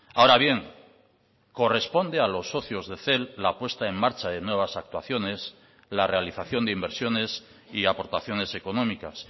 ahora bien corresponde a los socios de cel la puesta en marcha de nuevas actuaciones la realización de inversiones y aportaciones económicas